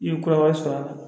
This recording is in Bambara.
I ye kɔrɔba sɔrɔ a la